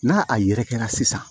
N'a a yɛrɛ kɛra sisan